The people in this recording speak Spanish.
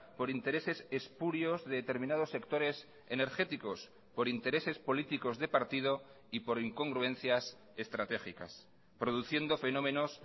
por intereses espurios de determinados sectores energéticos por intereses políticos de partido y por incongruencias estratégicas produciendo fenómenos